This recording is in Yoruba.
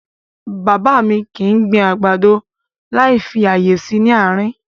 Bàbá mi kì í gbin àgbàdo láì fi ààyè sí nị àárín.